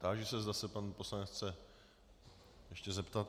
Táži se, zda se pan poslanec chce ještě zeptat.